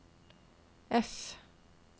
F